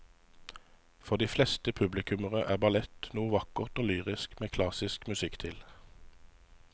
For de fleste publikummere er ballett noe vakkert og lyrisk med klassisk musikk til.